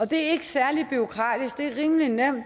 det er ikke særlig bureaukratisk det er rimelig nemt